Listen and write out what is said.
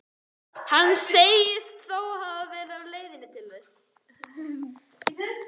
Hann segist þó alltaf vera á leiðinni til þeirra.